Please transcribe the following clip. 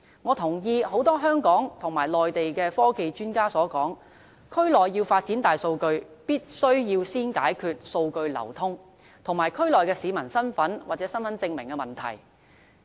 我同意很多香港和內地的科技專家所說，區內要發展大數據，必須先解決數據流通，以及區內市民的身份或身份證明的問題。